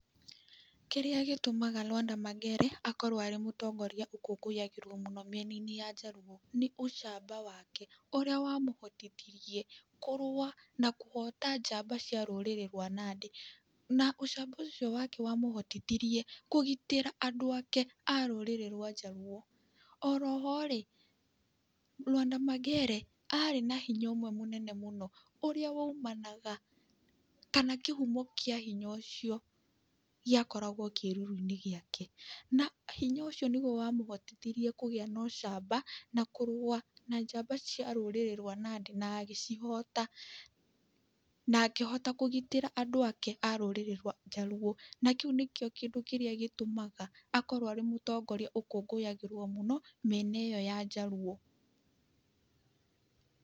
Kĩrĩa gĩtũmaga Lwanda Magere akorwo arĩ mũtongoria ũkũngũyagĩrwo mũno mĩena-inĩ ya njaruo, nĩ ũcamba wake, ũrĩa wamũhotithirie kũrũa na kũhota njamba cia rũrĩrĩ rwa nandĩ. Na ũcamba ũcio wake wamũhotithirie kũgitĩra andũ ake a rũrĩrĩ rwa njaruo. Oroho-rĩ, Lwanda Magere arĩ na hinya ũmwe mũnene mũno, ũrĩa waumanaga, kana kĩhumo kĩa hinya ũcio gĩakoragwo kĩruru-inĩ gĩake. Na hinya ũcio nĩguo wamũhotithirie kũgĩa na ũcamba, na kũrũa na njamba cia rũrĩrĩ rwa Nandĩ na agĩcihota, na akĩhota kũgitĩra andũ ake, a rũrĩrĩ rwa njaruo. Na kĩu nĩkĩo kĩndũ kĩrĩa gĩtũmaga akorwo arĩ mũtongoria ũkũngũyagĩrwo mũno, mĩena ĩo ya njaruo.